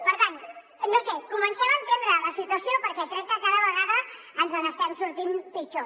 per tant no ho sé comencem a entendre la situació perquè crec que cada vegada ens n’estem sortint pitjor